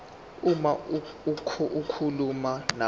uma zikhuluma nabantu